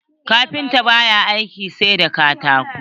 Kafinta ba ya aiki sai da katako.